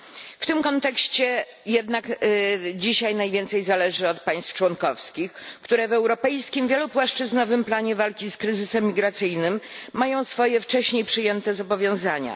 W tym kontekście jednak dzisiaj najwięcej zależy od państw członkowskich, które w europejskim wielopłaszczyznowym planie walki z kryzysem migracyjnym mają swoje wcześniej przyjęte zobowiązania.